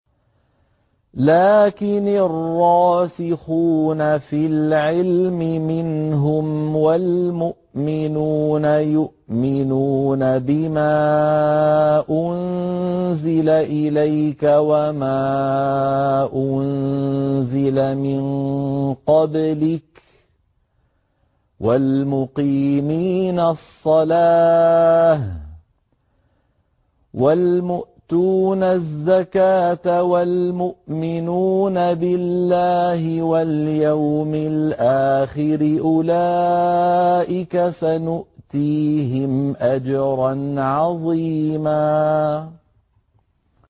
لَّٰكِنِ الرَّاسِخُونَ فِي الْعِلْمِ مِنْهُمْ وَالْمُؤْمِنُونَ يُؤْمِنُونَ بِمَا أُنزِلَ إِلَيْكَ وَمَا أُنزِلَ مِن قَبْلِكَ ۚ وَالْمُقِيمِينَ الصَّلَاةَ ۚ وَالْمُؤْتُونَ الزَّكَاةَ وَالْمُؤْمِنُونَ بِاللَّهِ وَالْيَوْمِ الْآخِرِ أُولَٰئِكَ سَنُؤْتِيهِمْ أَجْرًا عَظِيمًا